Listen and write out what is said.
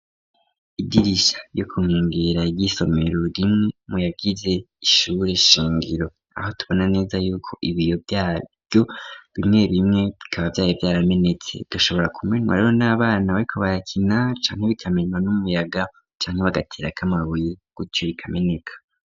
Idirisha yo kunengera iry'isomero rimwe muyagize ishure shingiro .Aho tubona neza yuko ibiyo vyaryo bimwe bimwe bikaba vyari vyaramenetse gashobora kumenywa reho n'abana bariko barakina cane bikamenywa n'umuyaga cane bagatera k'amabuye gutyo bikameneka.